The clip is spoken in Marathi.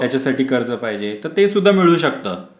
त्याच्यासाठी कर्ज पाहिजे तर ते सुद्धा मिळू शकता.